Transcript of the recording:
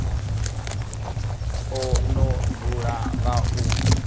o no dzula nga u